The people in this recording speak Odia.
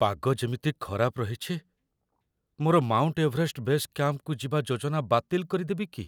ପାଗ ଯେମିତି ଖରାପ ରହିଛି, ମୋର ମାଉଣ୍ଟ ଏଭରେଷ୍ଟ ବେସ୍ କ୍ୟାମ୍ପକୁ ଯିବା ଯୋଜନା ବାତିଲ କରିଦେବି କି?